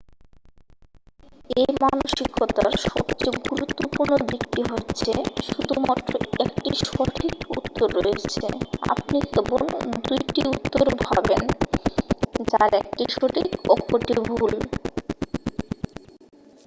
এই মানসিকতার সবচেয়ে গুরুত্বপূর্ণ দিকটি হচ্ছেঃ শুধুমাত্র 1টি সঠিক উত্তর রয়েছে আপনি কেবল 2টি উত্তর ভাবেন যার একটি সঠিক অপরটি ভুল